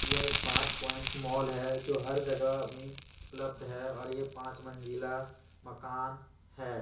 यह smart point mall है जो हर जगह अभी उपलब्ध है और ये पांच मंजिला मकान है।